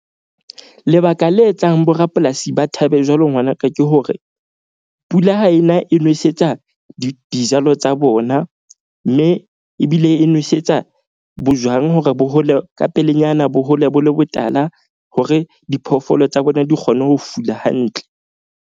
Lebaka le etsang borapolasi ba thabe jwalo ngwanaka ke hore, pula ha ena e nwesetsa dijalo tsa bona. Mme ebile e nwesetsa bojwang hore bo hole ka pelenyana bo hole bo le botala hore diphoofolo tsa bona di kgone ho fula hantle.